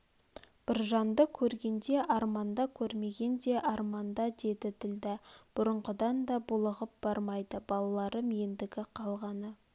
біржанды көрген де арманда көрмеген де арманда деді ділдә бұрынғыдан да булығып бармайды балаларым ендгі қалғаны